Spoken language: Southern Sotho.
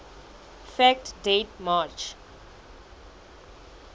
fact date march